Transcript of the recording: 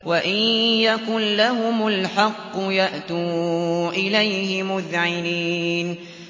وَإِن يَكُن لَّهُمُ الْحَقُّ يَأْتُوا إِلَيْهِ مُذْعِنِينَ